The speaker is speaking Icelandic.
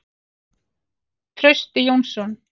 Trausti Jónsson.